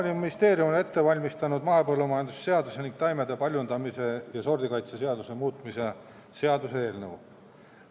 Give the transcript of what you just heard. Maaeluministeerium on ette valmistanud mahepõllumajanduse seaduse ning taimede paljundamise ja sordikaitse seaduse muutmise seaduse eelnõu.